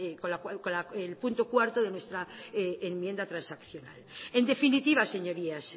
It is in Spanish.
con el punto cuarto de nuestra enmienda transaccional en definitiva señorías